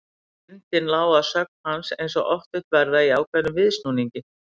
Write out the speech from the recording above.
Fyndnin lá að sögn hans eins og oft vill verða í ákveðnum viðsnúningi.